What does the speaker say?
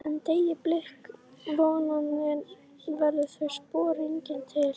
En- deyi blik vonarinnar verða þau spor eigi til.